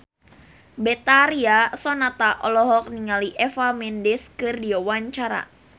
Betharia Sonata olohok ningali Eva Mendes keur diwawancara